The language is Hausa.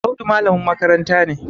Audu malamin makaranta ne